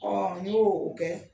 Ɔ n' y'o o kɛ